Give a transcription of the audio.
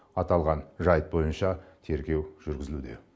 аталған жайт бойынша тергеу жүргізілуде